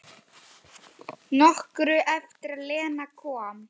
Nokkru eftir að Lena kom.